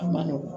A ma nɔgɔn